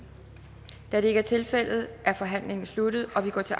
er det ikke er tilfældet er forhandlingen sluttet og vi går til